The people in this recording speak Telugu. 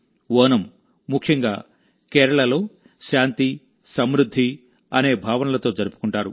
ఓనం ముఖ్యంగా కేరళలో శాంతి సమృద్ధి అనే భావనలతో జరుపుకుంటారు